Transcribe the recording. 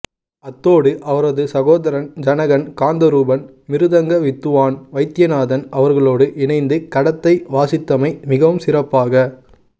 அத்தோடு அவரது சகோதரர் ஜனகன் காந்தரூபன் மிருதங்க வித்துவான் வைத்தியநாதன் அவர்களோடு இணைந்து கடத்தை வாசித்தமை மிகவும் சிறப்பாக